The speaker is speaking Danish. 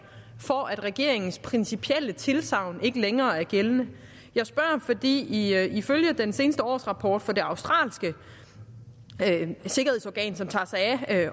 for at regeringens principielle tilsagn ikke længere er gældende jeg spørger fordi ifølge den seneste årsrapport fra det australske sikkerhedsorgan som tager sig af